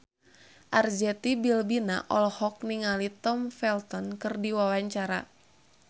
Arzetti Bilbina olohok ningali Tom Felton keur diwawancara